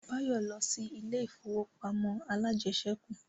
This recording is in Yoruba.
Báyọ̀ lọ sí ilé ìfowópamọ́ alájẹsẹ́kù